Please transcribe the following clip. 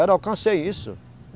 Era, eu alcancei isso.